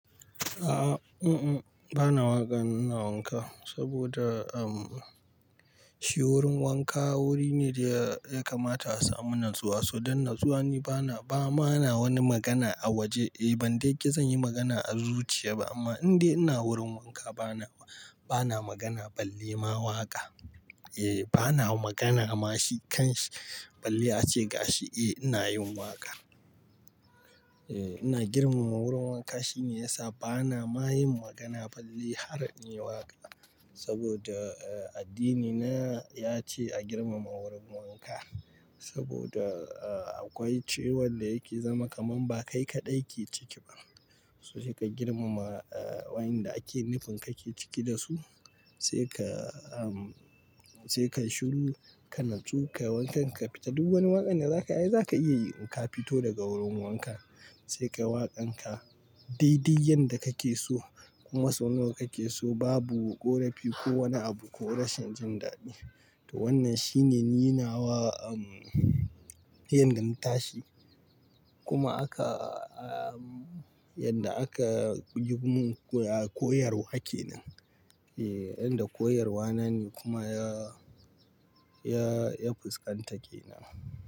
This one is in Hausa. A'a, bana waƙa in ina wanka saboda am. Shi wurin wanka wuri ne da ya kamata a samu natsuwa, so don natsuwa ni bana, ba ma na wani magana a waje. Eh ban dai ƙi zan yi magana a zuciya ba amma in dai ina wurin wanka bana, bana magana balle ma waƙa. Eh bana magana ma shi kan shi balle ace ga shi eh ina yin waƙa. Eh ina girmama wurin wanka shine ya sa bana ma yin magana balle har in yi waƙa. Saboda a addini na ya ce a girmama wurin wanka, saboda akwai ciwon da yake zama kaman ba kai kaɗai ke ciki ba. Ka girmama waƴanda ake nufin kake ciki da su sai ka, sai kai shiru, ka natsu, ka wanka, ka fita duk wani waƙan da za kai ai za ka iya yi in ka fito daga wurin wanka. Sai ka waƙan ka daidai yanda kake so kuma sau nawa kake so babu ƙorafi ko wani abu ko rashin jin daɗi. To wannan shine ni nawa, um, yanda na tashi kuma aka, um, yanda aka yi mun koyarwa kenan. Eh yanda koyarwa na ne kuma ya, ya, ya fuskanta kenan.